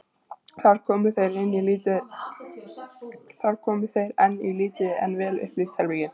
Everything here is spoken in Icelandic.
Þar komu þeir inn í lítið en vel upplýst herbergi.